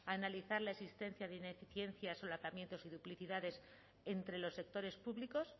analizar la existencia de ineficiencias solapamientos y duplicidades entre los sectores públicos